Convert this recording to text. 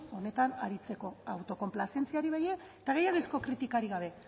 benetan aritzeko autokonplazentziari eta gainerazko kritikarik gabe